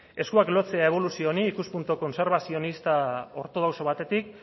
eskuak lotzea eboluzio honi ikuspuntu kontserbazionista ortodoxo batetik